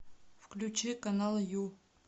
включи канал ю